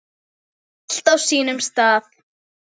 Allt á sínum stað.